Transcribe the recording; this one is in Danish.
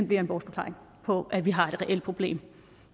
bliver en bortforklaring på at vi har et reelt problem